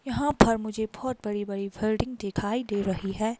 यहां पर मुझे बहोत बड़ी बड़ी बिल्डिंग दिखाई दे रही है।